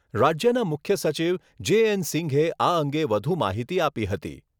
રાજ્યના મુખ્ય સચિવ જે એન સિંઘે આ અંગે વધુ માહિતી આપી.